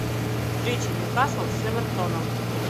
встреча ньюкасл с эвертоном